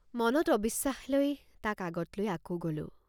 মনত অবিশ্বাস লৈ তাক আগত লৈআকৌ গলোঁ।